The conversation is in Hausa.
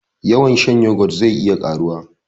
Yawan shan yoghurt zai iya karuwa